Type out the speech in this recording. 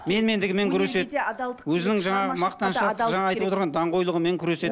менмендігімен күреседі өзінің жаңағы мақтаншақ жаңа айтып отырған даңғойлығымен күреседі